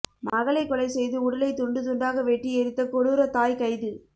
மகளை கொலை செய்து உடலை துண்டுதுண்டாக வெட்டி எரித்த கொடூரத் தாய் கைது